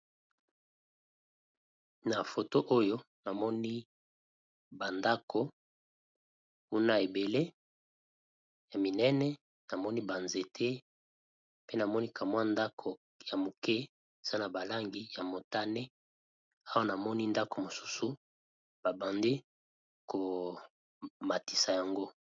Na foto oyo namoni ba ndako kuna ebele ya minene, namoni ba nzete pe namoni ka mwa ndako ya moke eza na ba langi ya motane awa namoni ndako mosusu ba bandi ko matisa yango.